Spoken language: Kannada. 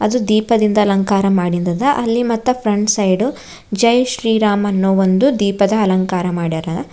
ದೀಪದಿಂದ ಅಲಂಕಾರ ಮಾಡಿದದ ಅಲ್ಲಿ ಮತ್ತೆ ಫ್ರಂಟ್ ಸೈಡು ಜಯ್ ಶ್ರೀ ರಾಮ್ ಅನ್ನೋ ಒಂದು ದೀಪದ ಅಲಂಕಾರ ಮಾಡ್ಯಾರ.